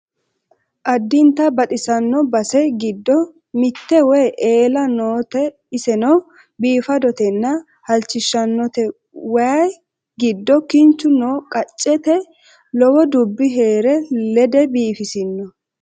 addinta baxissano base giddo mitte waye eela noote iseno biifadotenna halchishshannote waye giddo kinchu no qaccete lowo dubbi heere lede biifisino